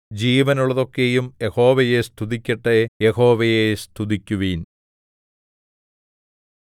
ജീവനുള്ളതൊക്കെയും യഹോവയെ സ്തുതിക്കട്ടെ യഹോവയെ സ്തുതിക്കുവിൻ